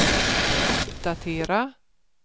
uppdatera